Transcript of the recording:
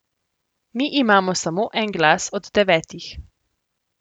Mi imamo samo en glas od devetih.